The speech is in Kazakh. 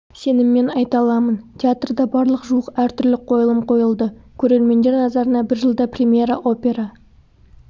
сеніммен айта аламын театрда барлығы жуық әртүрлі қойылым қойылды көрермендер назарына бір жылда премьера опера